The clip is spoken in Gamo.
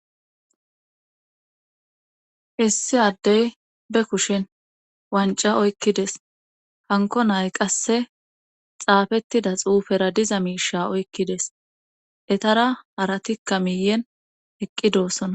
Issi addey be kushin wanca oykkides hanko nay qasse xaafettida xuufera diza miisha oykkides etara haratikka miyen eqqi doossona.